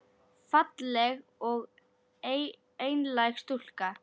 Falleg og einlæg stúlka.